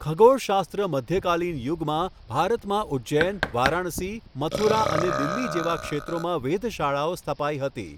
ખગોળશાસ્ત્ર મધ્યકાલીન યુગમાં ભારતમાં ઉજજૈન, વારાણસી, મથુરા અને દિલ્હી જેવા ક્ષેત્રોમાં વેધશાળાઓ સ્થપાઈ હતી.